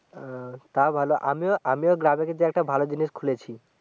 আহ তা ভালো আমিও আমিও কিন্তু গ্রামে একটা ভালো জিনিস খুলেছি